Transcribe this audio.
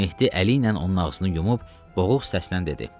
Mehdi əliylə onun ağzını yumub boğuq səslə dedi: